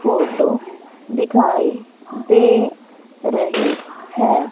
Photo दिखाई दे रही है।